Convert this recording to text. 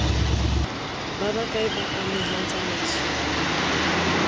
ba bakae ba amehang tsamaisong